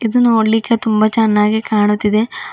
ಇದು ನೋಡ್ಲಿಕೆ ತುಂಬಾ ಚೆನ್ನಾಗಿ ಕಾಣುತಿದೆ.